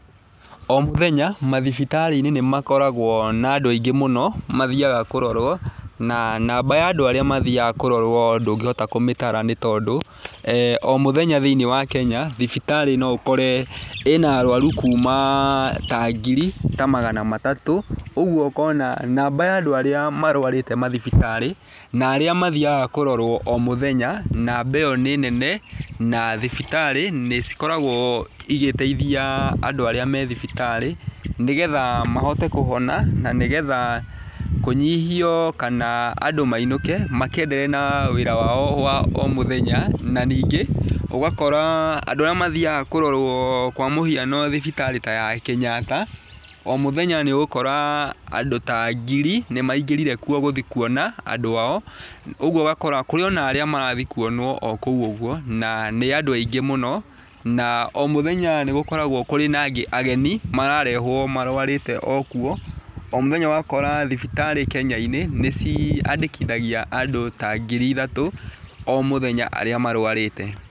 O mũthenya, mathibitarĩ-inĩ nĩ makoragwo na andũ aingĩ mũno mathiaga kũrorwo, na namba ya andũ arĩa mathiaga kũrorwo ndũngĩhota kũmĩtara nĩ tondũ, o mũthenya thĩiniĩ wa Kenya, thibitarĩ ni ũkore ũna araru kuma ta ngiri ta magana matatũ, ũguo ũkona namba ya andũ arĩa marwarĩte mathibiarĩ na arĩa mathiaaga kũrorwo o mũthenya, namba ĩyo nĩ nene, na thibitarĩ nĩ cikoragwo igĩteithia andũ arĩa me thibitarĩ, nĩgetha mahote kũhona, na nĩ getha kũnyihio, kana andũ mainũke, makenderee na wĩra wao wa o mũthenya, na nyingĩ , ũgakora andũ arĩa matiaga kũrorwo kwa mũhiano thibitarĩ ta ya Kenyatta, o mũthenya nĩ ũgũkora andũ ta ngiri, nĩ maingĩrire kuona andũ ao. Ũ guo ũgakora kũrĩ na andũ arĩa marathiĩ o kũu ũguo, ũgakora nĩ andũ aingĩ mũno, na o mũthenya nĩgũkoragwo kũrĩ na angĩ ageni, mararehwo marwarĩte okuo, thibitarĩ ũgakora, Kenya-inĩ, nĩ ciandĩkithagia andũ ta ngiri ithatũ, o mũthenyaa arĩa marwarĩte.